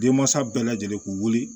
Denmansa bɛɛ lajɛlen k'u wuli